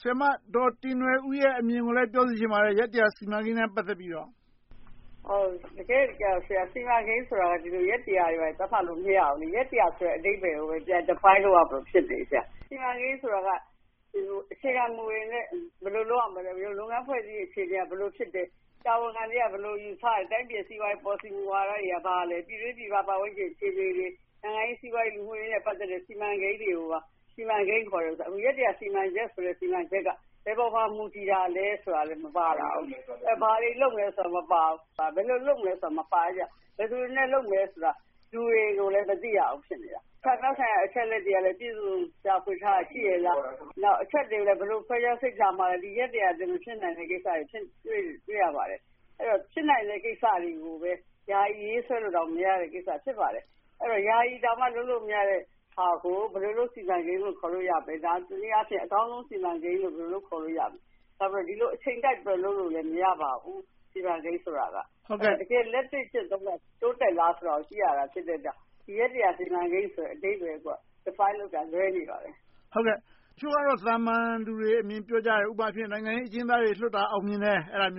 ဆရာမဒေါ်တင်နွယ်ဦးရဲ့ အမြင်ကိုလည်း ပြောစေချင်ပါတယ်။ ရက် စီမံကိန်းနဲ့ ပတ်သက်ပြီတော့။ တကယ့်တကယ်တော့ စီမံကိန်းဆိုတာ ဒီလို ရက် တွေ ဘာတွေ သတ်မှတ်လို့ မရဘူး။ ရက် ဆိုတဲ့ အဓိပ္ပါယ်ကိုပဲ ပြန် Define လုပ်ရမလို ဖြစ်နေပြီ။ စီမံကိန်းဆိုတာက အခြေခံမူတွေနဲ့အတူ ဘယ်လို လုပ်ရမလဲ။ လုပ်ငန်းအဖွဲ့အစည်းတွေ အခြေအနေက ဘယ်လို ဖြစ်တယ်။ တာဝန်ခံတွေက ဘယ်လို ယူဆတယ်။ တိုင်းပြည်စီးပွားရေး ပေါ်လစီမူဝါဒတွေက ဘာလဲ။ ပြည်တွင်းပြည်ပ ပတ်ဝန်းကျင်အခြေအနေတွေ။ နိုင်ငံရေး၊ စီးပွားရေး၊ လူမှုရေးနဲ့ ပတ်သက်တဲ့ စီမံကိန်းတွေကိုသာ စီမံကိန်းခေါ်တာ။ အခု ရက် စီမံချက်ဆိုတဲ့ စီမံချက်က ဘယ်ပေါ်မှာ မူတည်တာလဲဆိုတာကလဲ မပါလာဘူး။ ဘာတွေလုပ်မလဲဆိုတာ မပါဘူး။ ဘယ်လို လုပ်မလဲဆိုတာ မပါတဲ့အတွက်ကြောင့်။ ဘယ်သူတွေနဲ့ လုပ်မယ်ဆိုတာ လူတွေကိုလည်း မသိရဘူး ဖြစ်နေတယ်။ ဌာနဆိုင်ရာ အချက်အလက်တွေကလည်း ပြည့်ပြည့်စုံစုံ ရှာဖွေထားတာ ရှိရဲ့လား။ နောက်အချက်တွေကိုလည်း ဘယ်လို ခွဲခြမ်းစိတ်ဖြာမလဲ။ ဒီရက် အတွင်း မဖြစ်နိုင်တဲ့ကိစ္စတွေ ဖြစ်နေတာကို တွေ့ရပါတယ်။ အဲဒီတော့ ဖြစ်နိုင်တဲ့ ကိစ္စတွေကိုပဲ ယာယီရေးဆွဲလိုတောင် မရတဲ့ကိစ္စ ဖြစ်ပါတယ်။ အဲဒီတော့ ယာယီတောင် လုပ်လို့မရတဲ့ဟာကို ဘယ်လိုလုပ် စီမံကိန်းလို့ ခေါ်လို့ရမလား။ တနည်းအားဖြင့် အကောင်းဆုံး စီမံကိန်းလို့ ခေါ်လို့ရမလဲ။ နောက်ပြီး အချိန်ကိုက်ပြီလို့ လုပ်လို့မရပါဘူး။ စီမံကိန်းဆိုတာက တကယ် လက်တွေ့ကျင့်သုံးပြီး တိုးတက်လာဆိုတာကို ကြည့်ရတာ ဖြစ်တဲ့အတွက်ကြောင့် ဒီရက် စီမံကိန်း အဓိပ္ပါယ်ကိုက Define လုပ်တာ လွဲနေပါတယ်။ တချို့ကတော့ သာမန်လူတွေအမြင် ပြောကြတယ်။ ဥပမာအားဖြင့် နိုင်ငံရေးအကျဉ်းသားတွေ လွှတ်တာ အောင်မြင်တယ်။ ဒါပေ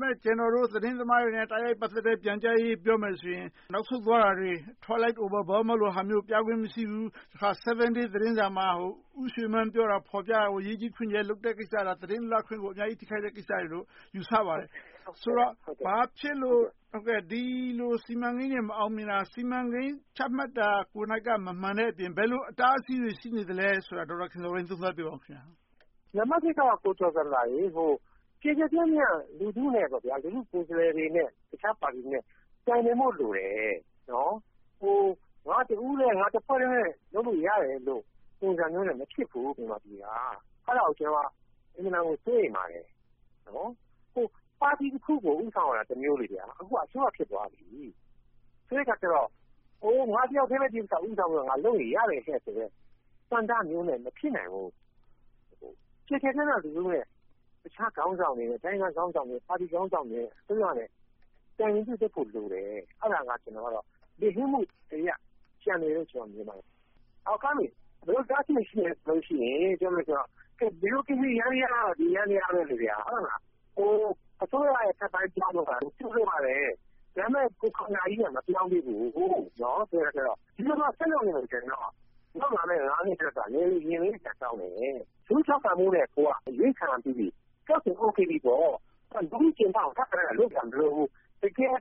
မဲ့ ကျနော်တို့ သတင်းသမားတွေနဲ့ တိုက်ရိုက်ပတ်သက်တဲ့ ပြန်ကြာရေးကို ပြောမယ်ဆိုရင် နောက်ဆုတ်သွားတာတွေ။ နောက်ဆုံး Twilight over Burma ရုပ်ရှင်မျိုးကို ပြခွင့်မပြဘူး။တခါ Seven Days သတင်းစာမှာ ဦးရွှေမန်းပြောတာကို ရေးကြီးခွင်ကျယ် လုပ်တဲ့ကိစ္စက သတင်းလွတ်လပ်ခွင့်ကို အမျာုးကြီးထိခိုက်တဲ့ ကိစ္စလို့ ယူဆပါတယ်။ ဆိုတော့ ဘာဖြစ်လို့ ဒီလို စီမံကိန်းတွေ မအောင်မြင်တာ စီမံကိန်း ချမှတ်တာကိုယ်နှိုက်က မမှန်တဲ့အပြင် ဘယ်လို အတားအဆီးတွေ ရှိနေသလဲဆိုတာကို သုံးသပ်ပြောပါအုံး။ နံပတ်တစ်က ကျယ်ကျယ်ပြန့်ပြန့် လူထုကိုယ်စားလှယ်တွေနဲ့ တခြားပါတီတွေနဲ့ တိုင်ပင်ဖို့လိုတယ်။ ငါတဦးတည်း၊ တဖွဲ့တည်းနဲ့ လုပ်လို့ရတယ်ဆိုတဲ့ ပုံစံမျိုးနဲ့ မဖြစ်ဘူး မြန်မာပြည်က။ အဲဒါကို ကျနော် အင်မတန်ကို စိုးရိမ်ပါတယ်။ ပါတီတခုကို ဦးဆောင်ရတာ တမျိုး။ အခုက အစိုးရ ဖြစ်သွားပြီ။ ဆိုတော့ ငါ တယောက်ထဲပဲ ဒီကိစ္စကို ဦးဆောင်လုပ်ရင် ရတယ်ဆိုတဲ့ ဆန္ဒမျိုးနဲ့ မဖြစ်နိုင်ဘူး။ ကျယ်ကျယ်ပြန့်ပြန့် တခြားခေါင်းဆောင်တွေနဲ့ တိုင်းရင်းသားခေါင်းဆောင်တွေနဲ့ ပါတီခေါင်းဆောင်တွေနဲ့ အစိုးရနဲ့ တိုင်ပင်ညှိနှိုင်းဖို့လိုတယ်။ အဲဒါကိုတော့ ကျနော်က လုပ်ဖို့ ကျန်နေတယ်လို့ မြင်ပါတယ်။ ဘယ်လို အတားအဆီတွေ ရှိသလဲဆိုရင် တယောက်နဲ့တယောက် ဗျူရိုကရေစီယန္တရားက ဒီယန္တရားပဲ။ အစိုးရရဲ့ အထက်ပိုင်းပြောင်းတာ ကြိုဆိုပါတယ်။ ဒါပေမဲ့ ကိုယ်ခန္ဓာကြီး မပြောင်းလဲသေးဘူး။ ဒီလိုသာ ဆက်လုပ်နေရင်တော့ နောက်လာမယ့် နှစ်က ရင်လေးစရာကောင်းတယ်။ လူထုထောက်ခံမှုနဲ့ ကိုယ်က အရွေးခံရပြီးပြီ။ အဲဒါဆို အိုကေပြီပေါ့။ အခု ထောက်ခံမှုအတွက် လုပ်စရာ မလိုဘူး။ ကိုယ်က တကယ်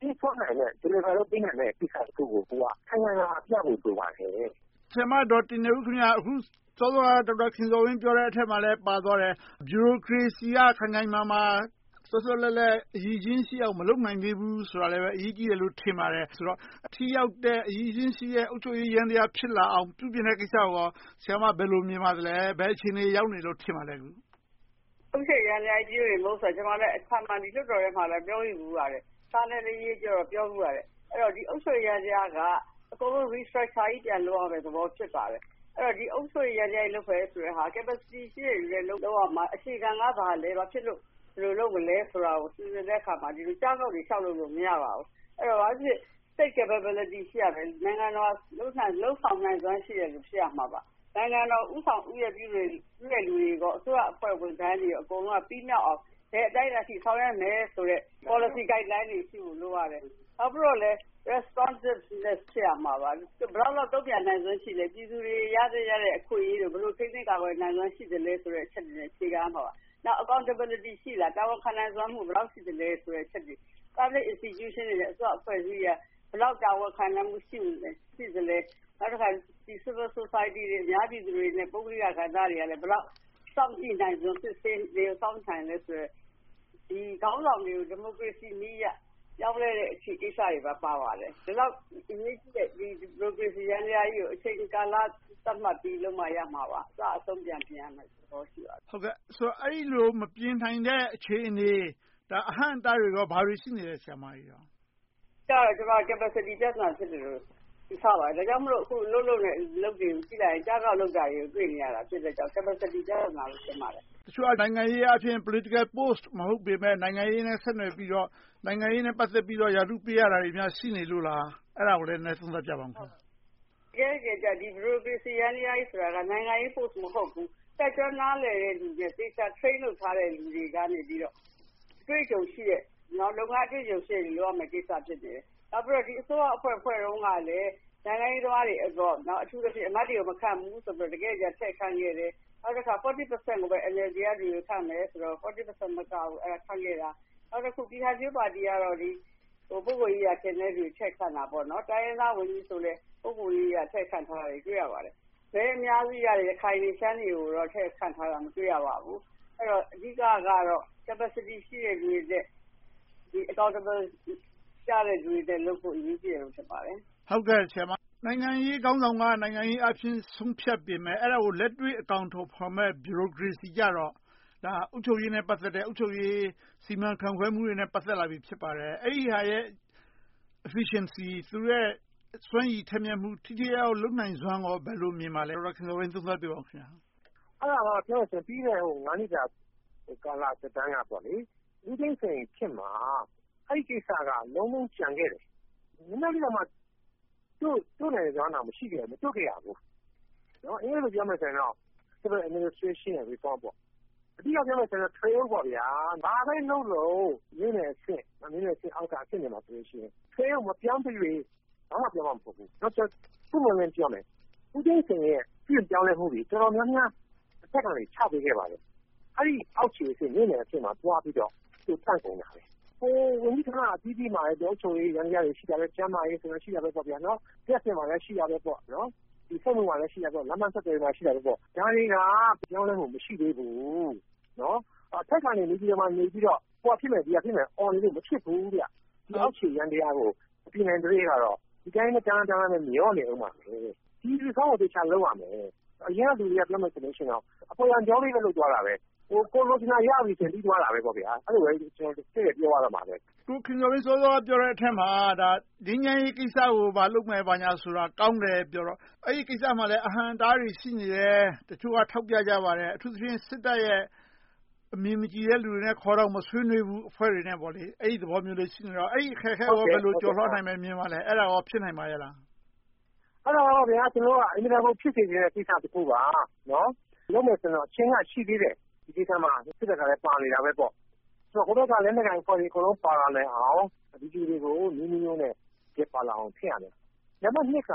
ပေးစွမ်းနိုင်တဲ့ delivery လုပ်ပေးနိုင်တာကို ခိုင်ခိုင်မာမာပြဖို့ လိုပါတယ်။ ဆရာမဒေါ်တင်နွယ်ဦး.. စောစောက ဒေါက်တာခင်ဇော်ဝင်း ပြောတဲ့အထဲမှာပါသွားတယ်။ ဗျူရိုကရေစီက ခိုင်ခိုင်မာမာ၊ သွက်သွက်လက်လက် အရည်အချင်းရှိအောင် မလုပ်နိုင်သေးဘူး ဆိုတာလည်း အရေးကြီးတယ်လို့ ထင်ပါတယ်။ ဆိုတော့ ထိရောက်တဲ့၊ အရည်အချင်းရှိတဲ့ အုပ်ချုပ်ရေးယန္တရား ဖြစ်လာအောင် ပြုပြင်တဲ့ကိစ္စကို ဆရာမ ဘယ်လို မြင်ပါလဲ။ ဘယ်အခြေအနေ ရောက်နေတယ်လို့ ထင်ပါလဲ။ အုပ်ချုပ်ရေးယန္တရားကြီး ပြုပြင်ဖို့ ကျမ လွှတ်တော်ထဲမှာ ပြောခဲ့ဖူးပါတယ်။ စာနဲ့လည်းရေးပြီး ပြောဖူးပါတယ်။ အဲဒီတော့ အုပ်ချုပ်ရေးယန္တရားက အကုန်လုံး Restructure ပြန်လုပ်ရမယ့်သဘော ဖြစ်ပါတယ်။ အုပ်ချုပ်ရေးယန္တရား လုပ်မယ့်ဟာက Capacity ရှိတဲ့လူနဲ့ လုပ်ရမှာ။ အခြေခံက ဘာလဲ။ ဘာဖြစ်လို့ ဘယ်လိုလုပ်မလဲဆိုတာ စီစဉ်တဲ့အခါမှာ ဒီလို ကြားပေါက်တွေ လျှောက်လုပ်လို့ မရပါဘူး။ အဲဒီတော့ ဘာပဲဖြစ်ဖြစ် State Capability ရှိရမယ်။ လုပ်ဆောင်နိုင်စွမ်းရှိသူ ဖြစ်ရမှာပါ။ နိုင်ငံတော် ဦးဆောင်ဦးရွက်ရှိသူပြုသူတွေ၊ အစိုးရဝန်ထမ်းတွေ အကုန်လုံးက ပြီးမြောက်အောင် ဘယ်အတိုင်းအတာအထိ ဆောင်ရွက်မယ်ဆိုတဲ့ Policy guideline တွေ ရှိဖို့ လိုပါတယ်။ Responses ဖြစ်ရမှာပါ။ ဘယ်လောက်အထိ တုံ့ပြန်နိုင်စွမ်းရှိလဲ။ ပြည်သူတွေ ရသင့်ရထိုက်တဲ့ အခွင့်အရေးတွေကို ဘယ်လို ထိန်းသိမ်းနိုင်စွမ်း ရှိသလဲဆိုတဲ့ အချက်တွေနဲ့ အခြေခံရမှာပါ။ နောက် Accountability ရှိလား။ တာဝန်ခံနိုင်စွမ်း ဘယ်လောက်ရှိသလဲဆိုတဲ့ အချက်တွေ။ Public Institutions တွေနဲ့ အစိုးရအဖွဲ့အစည်းတွေက ဘယ်လောက် တာဝန်ခံနိုင်မှု ရှိသလဲ။ နောက်တခါ Civil Society တွေ အများပြည်သူတွေနဲ့ ပုဂ….လိကကဏ္ဍတွေက ဘယ်လောက် စောင့်ကြည့်နိုင်စွမ်း၊ စစ်ဆေးနိုင်သလဲဆိုတဲ့ ခေါင်းဆောင်တွေကို ဒီမိုကရေစီနည်းအရ ပြောင်းလဲတဲ့ကိစ္စတွေပါ။ ဒီလောက် အရေးကြီးတဲ့ ဒီမိုကရေစီယန္တရားကြီးကို အချိန်ကာလသတ်မှတ်ပြီးလုပ်မှ ရမှာပါ။ အစအဆုံး ပြန်ပြင်ရမယ့်သဘော ရှိပါတယ်။ အဲဒီလို မပြင်နိုင်တဲ့ အခြေအနေ၊ အဟန့်အတားတွေ ဘာတွေ ရှိနေသလဲ။ အဓိကတော့ Capacity ပြဿနာ ဖြစ်တယ်လို့ ယူဆပါတယ်။ ဒါကြောင့်မို့ လုပ်နေတဲ့ အလုပ်တွေကို ကြည့်လိုက်ရင် ကျကောက်လုပ်နေတာတွေကို တွေ့ရလို့ Capacity ပြဿနာလို့ ထင်ပါတယ်။ တချို့က နိုင်ငံရေးအားဖြင့် Political post မဟုတ်ပေမယ့် နိုင်ငံရေးနဲ့ ဆက်နွှယ်ပြီးတော့ နိုင်ငံရေးနဲ့ ပတ်သက်ပြီး ရာထူးပေးရတာတွေများ ရှိနေလို့လား။ အဲဒါကိုလည်း နည်းနည်းသုံးသပ်ပြပါ။ တကယ့်တကယ်တော့ ဗျူရိုကရေစီယန္တရားကြီးဆိုတာက နိုင်ငံရေး post မဟုတ်ဘူး။ တတ်ကျွမ်းနားလည်တဲ့သူနဲ့ သေချာ Train လုပ်ထားတဲ့သူတွေက လုပ်ငန်းအတွေ့အကြုံရှိတဲ့သူတွေ လုပ်ရမယ့်ကိစ္စ ဖြစ်တယ်။ နောက်ပြီးတော့ အစိုးရအဖွဲ့ ဖွဲ့တုန်းကလည်း နိုင်ငံရေးသမားတွေ၊ အမတ်တွေကို မခန့်ဘူးဆိုပြီး တကယ့်တကယ်ကြတော့ ထည့်ခန့်ခဲ့တယ်။ နောက်တခါ 40% ကိုပဲ NLD က ခန့်မယ်ဆိုပြီး 40% မက ခန့်ခဲ့တယ်။ နောက်တခု ပြည့်ခိုင်ဖြိုးပါတီကတော့ ပုဂ္ဂိုလ်ရေးရာ ခင်တဲ့လူတွေကို ထည့်ခန့်တာ။ တိုင်းရင်းသားဝန်ကြီးဆိုလည်း ပုဂ္ဂိုလ်ရေးရာအရ ထည့်ခန့်ထားတာတွေ တွေ့ရပါတယ်။ မဲအများစုရတဲ့ ရခိုင်တွေ၊ ရှမ်းတွေကိုတော့ ထည့်ခန့်ထားတာ မတွေ့ရပါဘူး။ အဓိကတော့ Capacity ရှိတဲ့သူတွေနဲ့ Accountability ကျတဲ့ လူတွေနဲ့လုပ်ဖို့ အရေးကြီးတယ်လို့ ထင်ပါတယ်။ နိုင်ငံရေးခေါင်းဆောင်က နိုင်ငံရေးအားဖြင့် ဆုံးဖြတ်ပေမယ့် အဲဒါကို လက်တွေ့အကောင်အထည်ဖော်မယ့် ဗျူရိုကရေစီကြတော့ အုပ်ချုပ်ရေးနဲ့ ပတ်သက်တဲ့ အုပ်ချုပ်ရေး စီမံခန့်ခွဲမှုတွေနဲ့ ပတ်သက်လာပြီ ဖြစ်ပါတယ်။ အဲဒီဟာရဲ့ Efficiency စွမ်းရည်ထက်မြက် လုပ်ကိုင်မှု၊ ထိထိရောက်ရောက် လုပ်နိုင်စွမ်းကော ဘယ်လို မြင်ပါလဲ။ အဲဒါက ပြီးခဲ့တဲ့ နှစ်တာ သက်တမ်းက ဦးသိန်းစိန်ခေတ်မှာ အဲဒီကိစ္စက လုံးလုံးကျန်ခဲ့တယ်။ နည်းနည်းလေးကိုမှ တို့နိုင်စွမ်းတောင် မရှိခဲ့ဘူး။ အင်္ဂလိပ်လို ပြောမယ်ဆိုရင်တော့ Civil Administration Reform - အဓိက ပြောမယ်ဆိုရင်တော့ Trail - ဘာပဲလုပ်လုပ် မြို့နယ်အဆင့်၊ မြို့နယ်အဆင့်အောက်က အဆင့်တွေမှာ Trail ကို မပြောင်းသရွေ့ ဘာမှပြောင်းမှာ မဟုတ်ဘူး။ ပွင့်ပွင့်လင်းလင်းပြောမယ် ဦးသိန်းစိန်ရဲ့ ပြုပြင်ပြောင်းလဲမှုတွေ တော်တော်များများ တဖက်ကနေ ချပေးခဲ့ပါတယ်။ အောက်ခြေအဆင့် မြို့နယ်အဆင့်မှာ သွားပြီးတော့ တန့်ကုန်တာပဲ။ ဝန်ကြီးဌာနအသီးသီးမှာလည်း အုပ်ချုပ်ရေးယန္တရားတွေ ရှိတာပဲ။ ကျန်းမာရေး၊ လျှပ်စစ်မှာလည်း ရှိတယ်။ လမ်းပန်းဆက်သွယ်ရေးမှာလည်း ရှိတယ်။ ဒါတွေက ဘာမှပြောင်းလဲမှု မရှိသေးဘူး။ အထက်ကနေ နေပြည်တော်မှာနေပြီးတော့ ဟိုဟာဖြစ်မယ်၊ ဒီဟာဖြစ်မယ်လို့ အော်နေလို့ မဖြစ်ဘူး။ အောက်ခြေယန္တရားကို မပြင်နိုင်သရွေ့တော့ ဒီအတိုင်းပဲ မျှောနေအုံးမှာ။ ဒီ Reform ကို သေချာလုပ်ရမယ်။ အရင်တုန်းက လူတွေက အပေါ်ယံကြောလေးပဲ လုပ်သွားတာ။ ကိုယ်လိုချင်တဲ ရတာပြီရင် ပြီးသွားတာပဲ။ အဲဒီလိုပဲ တည့်တည့်ပြောရမှာပဲ။ ကိုခင်ဇော်ဝင်း စောစောက ပြောတဲ့အထဲမှာ ငြိမ်းချမ်းရေးကိစ္စကိုလည်း လုပ်မယ်ဆိုတာ ကောင်းတယ်ပြောတော့ အဲဒီကိစ္စမှာလည်း အဟန့်အတားတွေ ရှိနေတယ်။ တချို့က ထောက်ပြကြပါတယ်။ အထူးသဖြင့် စစ်တပ်ရဲ့ အမြင်မကြည်တဲ့လူတွေနဲ့ ခေါ်ယူမဆွေးနွေးဘူး။ အဲဒီသဘောမျိုးလေး ရှိနေတော့ အဲဒီအခက်အခဲကို ဘယ်လို ကျော်လွှာနိုင်မယ်လို့ မြင်ပါလဲ။ အဲဒါ ဖြစ်နိုင်ပါရဲ့လား။ အဲဒါကတော့ အင်မတန်ကို ဖြစ်စေချင်တဲ့ ကိစ္စတခု။ လုပ်မယ်ဆိုရင်တော့ အချိန်က ရှိသေးတယ်။ ဒီမှာ စစ်တပ်ကလည်း ပါနေတာပေါ့။ ဟိုဘက်က လက်နက်ကိုင်အဖွဲ့တွေ ပါလာနိုင်အောင် နည်းအမျိုးမျိုးနဲ့ ပါလာအောင် ဖြစ်ရမယ်။ နံပတ်နှစ်က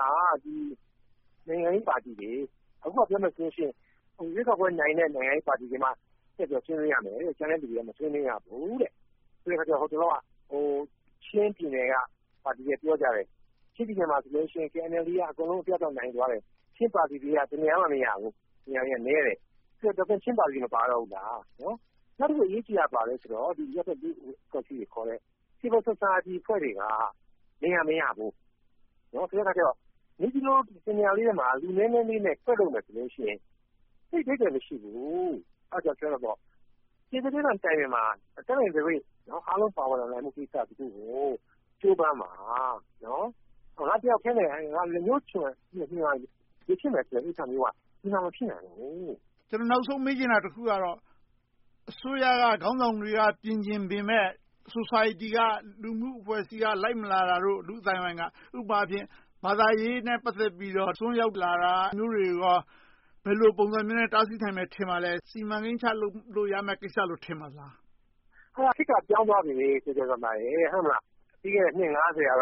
နိုင်ငံရေးပါတီတွေ။ အခုက ပြောမယ်ဆိုရင် ရွေးကောက်ပွဲနိုင်တဲ့ နိုင်ငံရေးပါတီတွေပါ ထည့်ပြီးဆွေးနွေးရမယ်။ ကျန်တဲ့လူတွေက မဆွေးနွေးရဘူးဆိုတဲ့အခါကြတော့ ဟိုတလောက ချင်းပြည်နယ်ကပါတီက ပြောကြတယ် ချင်းပြည်နယ်မှာဆို KNLA က အပြတ်အသတ် နိုင်သွားတယ်။ ချင်းပါတီတွေက ဘယ်နေရာမှာမှ မရဘူး။ ဒါဆို ချင်းပါတီတွေ မပါတော့ဘူးလား။ နောက်တခု ဘာအရေးကြီးလဲဆိုတော့ အရပ်ဘက်လူ့အဖွဲ့အစည်းတွေခေါ်တဲ့ Civil Society အဖွဲ့တွေက နေရာမရဘူး။ ဆိုတော့ နေပြည်တော်နေရာလေးမှာ လူနည်းနည်းနဲ့ ကွက်လုပ်မယ်ဆိုရင် သိပ်အဓိပ္ပါယ် မရှိဘူး။ တတ်နိုင်သရွေ့ အားလုံးပါဝင်နိုင်မယ့် ကိစ္စတခုကို ကြိုးပမ်းပါ။ ငါတယောက်ထဲနဲ့ လက်ညှိုးညွှန်ရာ ဖြစ်မယ်ဆိုတဲ့ ကိစ္စမျိုးက ဒီမှာ မဖြစ်နိုင်ဘူး။ ကျနော် နောက်ဆုံးမေးချင်တာက အစိုးရက ခေါင်းဆောင်တွေက ပြင်ချင်ပေမယ့် Society က လူမှုအဖွဲ့အစည်းက လိုက်မလာတာတို့၊ လူ့အသိုင်းအဝိုင်းက ဥပမာအားဖြင့် ဘာသာရေးနဲ့ ပတ်သက်ပြီးတော့ အစွန်းရောက်လာတာ၊ အဲဒီလိုမျိုးတွေကို ဘယ်လိုပုံစံမျိုးနဲ့ တားဆီးနိုင်မယ် ထင်ပါလဲ။ စီမံကိန်းချလုပ်လို့ ရမယ့်ကိစ္စလို့ ထင်ပါသလား။ ခေတ်က ပြောင်းသွားပြီ။ ပြီးခဲ့တဲ့ နှစ် က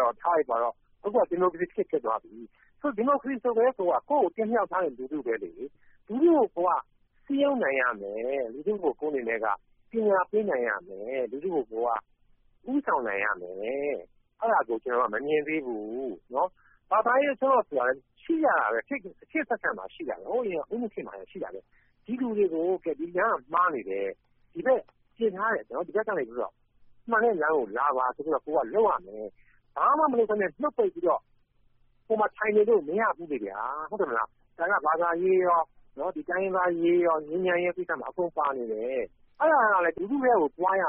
တော့ ထားလိုက်ပါတော့။ အခုက ဒီမိုကရေစီခေတ် ဖြစ်သွားပြီ။ ဒီမိုကရေစီခေတ်ဆိုကတည်းက ကိုယ့်ကို တင်မြှောက်ထားတာ လူထု။ လူထုကို ကိုယ်က စည်းရုံးနိုင်ရမယ်။ လူထုကို ကိုယ့်အနေနဲ့က ပညာပေးနိုင်ရမယ်။ လူထုကို ကိုယ်က ဦးဆောင်နိုင်ရမယ်။ အဲဒါကို ကျနော်တို့က မမြင်သေးဘူး။ ဘာသာရေး အစွန်းရောက်ဆိုတာ ရှိကြတာပဲ။ ခေတ်အဆက်ဆက်မှာ ရှိတယ်။ ဟိုအရင် ဦးနုခေတ်မှာလည်း ရှိတယ်။ ဒီလူတွေကို ဒီလမ်းက မှားတယ်။ ဒီဘက်ကနေ မှန်တဲ့လမ်းကို လာပါဆိုပြီး လုပ်ရမယ်။ ဘာမှ မလုပ်ဘဲ နှုတ်ပိတ်ပြီးတော့ ဟိုမှာ ထိုင်နေလို့ မရဘူးလေ။ ဘာသာရေး၊ တိုင်းရင်းသားအရေး၊ ငြိမ်းချမ်းရေး အကုန်ပါနေတယ်။ အဲဒါ လူထုထဲကို သွားရမ